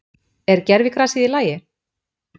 Er gervigrasið í lagi?